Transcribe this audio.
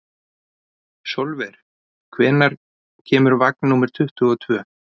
Sólver, hvenær kemur vagn númer tuttugu og tvö?